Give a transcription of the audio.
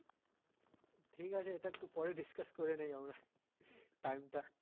ঠিক আছে তা একটু পরে discuss করে নেই আমরা time টা।